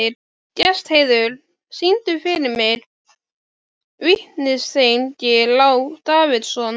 Gestheiður, syngdu fyrir mig „Vítisengill á Davidson“.